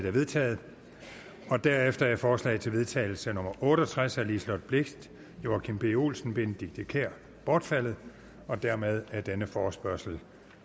er vedtaget derefter er forslag til vedtagelse nummer otte og tres af liselott blixt joachim b olsen og benedikte kiær bortfaldet dermed er denne forespørgsel